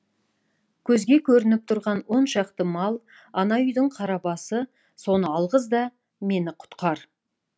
көзге көрініп тұрған он шақты мал ана үйдің қара басы соны алғыз да мені құтқар